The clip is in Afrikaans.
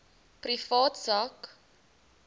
privaat sak